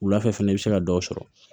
Wulafɛ fɛnɛ i bɛ se ka dɔ sɔrɔ